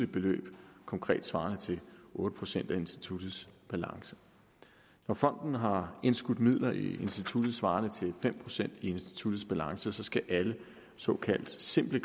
beløb konkret svarende til otte procent af instituttets balance når fonden har indskudt midler i instituttet svarende til fem procent af instituttets balance skal alle såkaldte simple